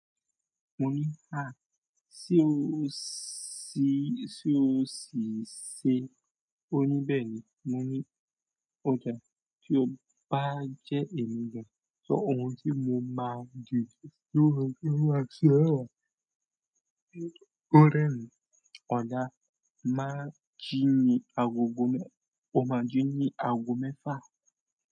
Mo ní, háà, tí o sì ṣe ó ní bẹ́ẹ̀ ni. Mo ní ọdà tí ó bá jẹ́ ẹ̀mí gan, sọ ohun tí mo máa dìde sí ọ kí n máa ṣe ó. Ó re rerin, ọ̀la máa jí mi agogo mẹ́, o máa jí ni aago mẹ́fà.